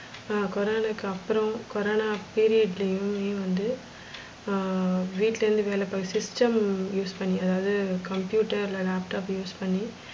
கொரனாவுக்கு அப்புறம் corona period லையுமே வந்து ஆஹ் வீட்டுலேந்து வேல பாக்கு system use பண்ணி, அதாவது computer இல்ல laptop use பண்ணி,